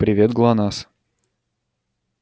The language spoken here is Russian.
привет глонассс